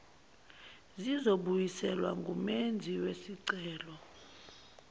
zizobuyiselwa kumenzi wesicelo